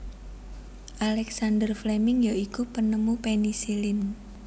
Alexander Fleming ya iku penemu penisilin